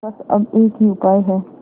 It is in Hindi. बस अब एक ही उपाय है